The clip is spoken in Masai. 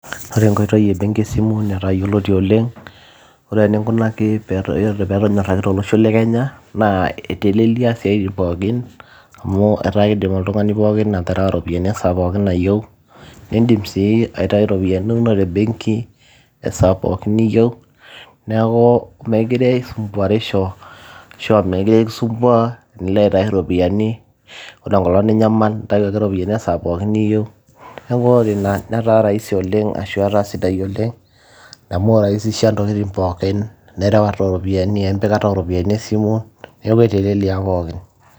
ore enkoitoi ebenki esimu netaa yioloti oleng ore eninkunaki pee etonyorraki tolosho le kenya naa eitelelia isiaitin pookin amu etaa kidim oltung'ani pookin aterewa ropiyiani esaa pookin nayieu nindim sii aitai iropiyiani inonok te benki esaa pookin niyieu neeku meekire isumbuarisho ashu mekire kisumbua tenilo aitai iropiyiani ore enkolong ninyamal intayu ake iropiyiani esaa pookin niyieu niaku ore ina netaa raisi oleng ashu etaa sidai oleng amu iraisisha intokitin pookin nerewata oropiyiani empikata oropiyiani esimu neeku etelelia pookin.